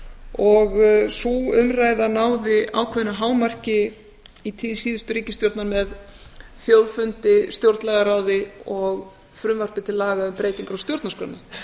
og sú umræða náði ákveðnu hámarki í tíð síðustu ríkisstjórnar með þjóðfundi stjórnlagaráði og frumvarpi til laga um breytingar á stjórnarskránni